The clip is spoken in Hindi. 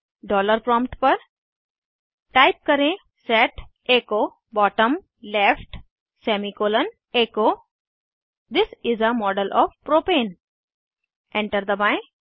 डॉलर प्रॉम्प्ट पर टाइप करें set echo bottom left semicolon echo this is a model of propane enter दबाएं